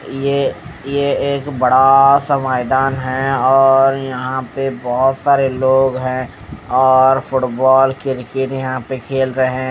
ये ये एक बड़ा सा मैदान है और यहां पे बहुत सारे लोग हैं और फुटबॉल क्रिकेट यहां पे खेल रहे हैं।